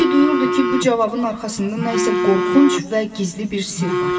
Bembi duyurdu ki, bu cavabın arxasında nəsə qorxunc və gizli bir sirr var.